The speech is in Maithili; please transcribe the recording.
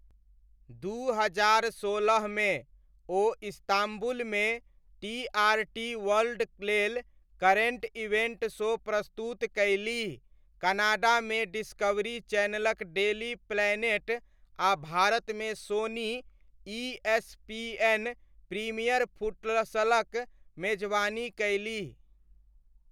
दू हजार सोलहमे, ओ इस्ताम्बुलमे टीआरटी वर्ल्डक लेल करेण्ट इवेण्ट शो प्रस्तुत कयलीह, कनाडामे डिस्कवरी चैनलक डेली प्लैनेट आ भारतमे सोनी ईएसपीएन प्रीमियर फुटसलक मेजबानी कयलीह।